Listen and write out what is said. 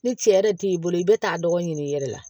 Ni cɛ yɛrɛ t'i bolo i bɛ taa dɔgɔnin ɲini i yɛrɛ la